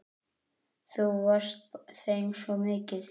Þú varst þeim svo mikið.